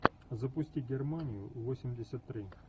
запусти германию восемьдесят три